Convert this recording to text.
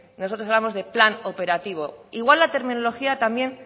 nosotros hablamos de plan operativo igual la terminología también